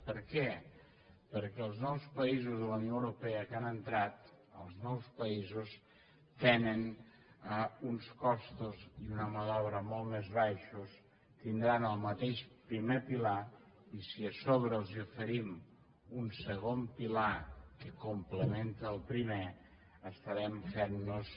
per què perquè els nous països de la unió europea que han entrat els nous països tenen uns costos i una mà d’obra molt més baixos tindran el mateix primer pilar i si a sobre els oferim un segon pilar que complementa el primer estarem fent nos